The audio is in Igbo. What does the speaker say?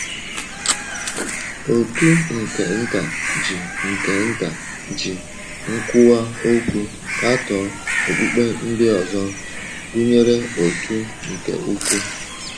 Òtù nke Nta ji nke Nta ji nkwuwa okwu katọọ okpukpe ndị ọzọ, gụnyere Òtù nke Ukwu.